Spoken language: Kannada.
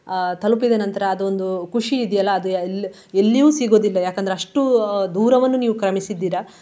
ಆ ತಲುಪಿದ ನಂತರ ಅದು ಒಂದು ಖುಷಿ ಇದೆಯಲ್ಲ ಅದು ಎಲ್~ ಎಲ್ಲಿಯೂ ಸಿಗುವುದಿಲ್ಲ ಯಾಕಂದ್ರೆ ಅಷ್ಟು ಆ ದೂರವನ್ನು ನೀವು ಕ್ರಮಸಿದ್ದೀರ.